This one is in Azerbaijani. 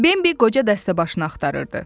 Bembi qoca dəstəbaşını axtarırdı.